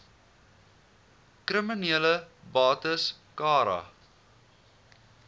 kriminele bates cara